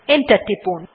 enter টিপুন